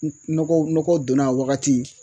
Nɔgɔ nɔgɔ donna a wagati